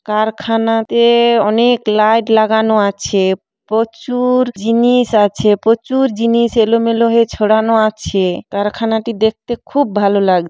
কারখানাতে-এ অনেক লাইট লাগানো আছে। প্রচু-উর জিনিস আছে। প্রচুর জিনিস এলোমেলো হয়ে ছড়ানো আছে। কারখানাটি দেখতে খুব ভালো লাগ--